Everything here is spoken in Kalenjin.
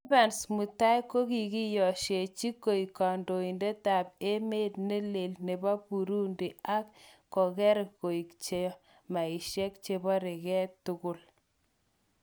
Evans mutai:kokokiyosheji koik kondoidet ab emet neleel nebo Burudi ak koker'ngok chamaishek chekoborege tugul.